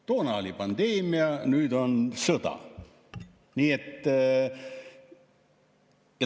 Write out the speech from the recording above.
Toona oli pandeemia, nüüd on sõda.